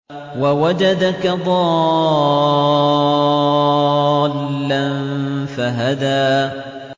وَوَجَدَكَ ضَالًّا فَهَدَىٰ